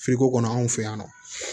kɔnɔ anw fɛ yan nɔ